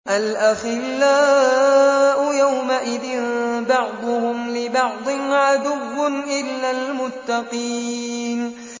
الْأَخِلَّاءُ يَوْمَئِذٍ بَعْضُهُمْ لِبَعْضٍ عَدُوٌّ إِلَّا الْمُتَّقِينَ